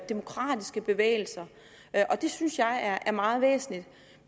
demokratiske bevægelser og det synes jeg er meget væsentligt